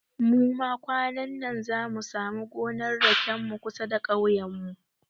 Muma kwanannan zamu samu gonar raken mu kusa da kauyen mu